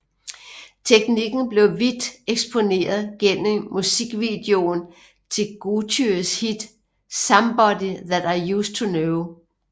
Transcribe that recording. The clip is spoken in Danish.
Teknikken blev vidt eksponeret gennem musikvideoen til Gotyes hit Somebody That I Used to Know